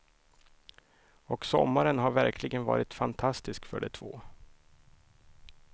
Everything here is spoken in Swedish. Och sommaren har verkligen varit fantastisk för de två.